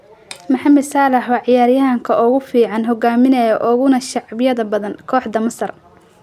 Mohamed Salah waa ciyaaryahanka ugu fiican, hogaaminaya, uguna shacbiyada badan kooxda Masar.